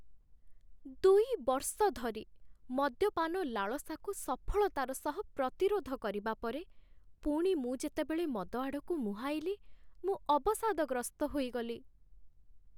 ଦୁଇ ବର୍ଷ ଧରି ମଦ୍ୟପାନ ଲାଳସାକୁ ସଫଳତାର ସହ ପ୍ରତିରୋଧ କରିବା ପରେ, ପୁଣି ମୁଁ ଯେତେବେଳେ ମଦ ଆଡ଼କୁ ମୁହାଁଇଲି, ମୁଁ ଅବସାଦଗ୍ରସ୍ତ ହୋଇଗଲି।